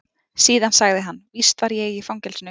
Síðan sagði hann: Víst var ég í fangelsinu.